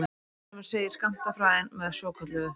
Ennfremur segir skammtafræðin með svokölluðu